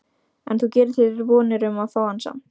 En þú gerir þér vonir um að fá hann samt?